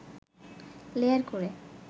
layer করে